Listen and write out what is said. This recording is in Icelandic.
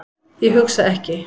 Ég hugsa ekki.